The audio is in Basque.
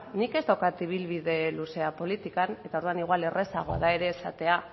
nik ez daukat ibilbide luzea politikan eta orduan igual ere errazagoa da esatea